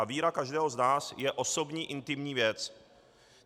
A víra každého z nás je osobní intimní věc.